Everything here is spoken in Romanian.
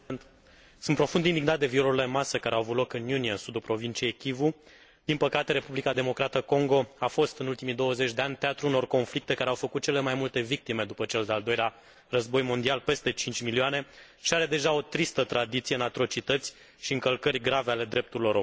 Sunt profund indignat de violurile în masă care au avut loc în iunie, în sudul provinciei Kivu. Din păcate, Republica Democrată Congo a fost, în ultimii 20 de ani, teatrul unor conflicte care au făcut cele mai multe victime după cel de al Doilea Război Mondial, peste 5 milioane, și are deja o tristă tradiție în atrocități și încălcări grave ale drepturilor omului.